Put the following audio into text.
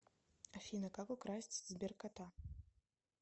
афина как украсть сберкота